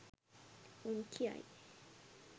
උන් කියයි